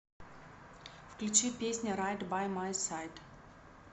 включи песня райт бай май сайд